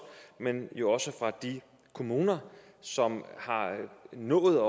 men jo også fra de kommuner som har nået